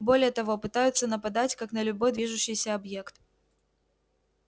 более того пытаются нападать как на любой движущийся объект